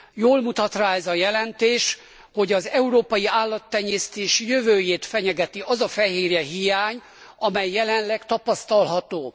Jól mutat rá ez a jelentés, hogy az európai állattenyésztés jövőjét fenyegeti az a fehérjehiány, amely jelenleg tapasztalható.